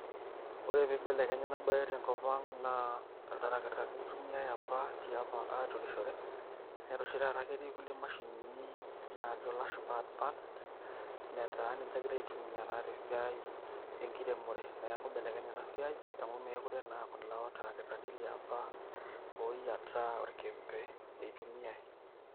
Ore piibelekenye ena baye tenkop ang' naa iltarakitani itumiai apa tiapa aturishore netaa oshi taata keti kulie mashinini najo ilashumba advanced netaa ninje egirai aitumia te siai enkiremore. Neeku ibelekenye ena siai amu meekure naa kulo tarakitani liapa oyiataa orkembe itumiai.